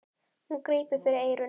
Hún grípur fyrir eyrun.